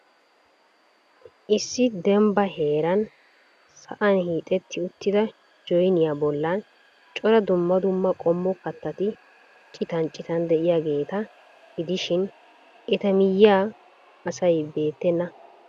Issi dembba heeran da'am hiixxeti uttida joynniyaa bollan cora dumma dumma qommo kattati citan citan de'iyaageeta gidishin eta miyyiyan asi beettena.